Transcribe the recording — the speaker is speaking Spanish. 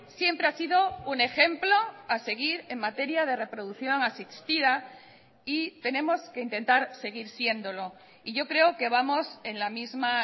siempre ha sido un ejemplo a seguir en materia de reproducción asistida y tenemos que intentar seguir siéndolo y yo creo que vamos en la misma